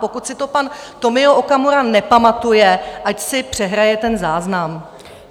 Pokud si to pan Tomio Okamura nepamatuje, ať si přehraje ten záznam.